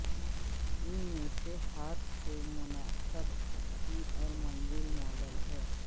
ان میں سے ہاتھ سے منعقد کی اور منزل ماڈل ہیں